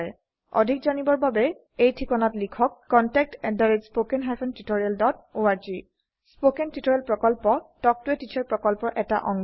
অধিক তথ্যৰ বাবে লিখক contactspoken tutorialorg স্পোকেন টিউটোৰিয়াল প্ৰকল্প তাল্ক ত a টিচাৰ প্ৰকল্পৰ এটা অংগ